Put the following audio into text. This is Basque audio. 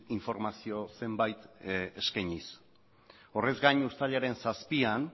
informazio zenbait eskainiz horrez gain uztailaren zazpian